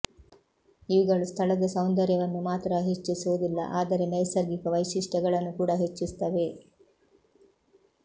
ಇವುಗಳು ಸ್ಥಳದ ಸೌಂದರ್ಯವನ್ನು ಮಾತ್ರ ಹೆಚ್ಚಿಸುವುದಿಲ್ಲ ಆದರೆ ನೈಸರ್ಗಿಕ ವೈಶಿಷ್ಟ್ಯಗಳನ್ನು ಕೂಡಾ ಹೆಚ್ಚಿಸುತ್ತವೆ